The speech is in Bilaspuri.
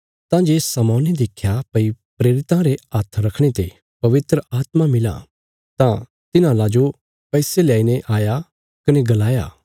तां जे शमौने देख्या भई प्रेरितां रे हाथ रखणे ते पवित्र आत्मा मिलां तां तिन्हांला जो पैसे ल्याईने आया कने गलाया